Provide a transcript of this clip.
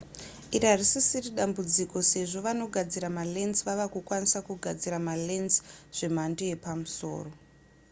iri harisisiri dambudziko sezvo vanogadzira malens vava kukwanisa kugadzira malens zvemhando yepamusoro